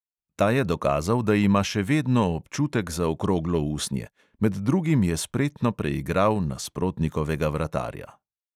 Ta je dokazal, da ima še vedno občutek za okroglo usnje, med drugim je spretno preigral nasprotnikovega vratarja.